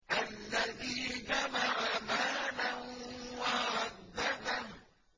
الَّذِي جَمَعَ مَالًا وَعَدَّدَهُ